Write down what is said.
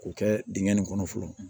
K'o kɛ dingɛ nin kɔnɔ fɔlɔ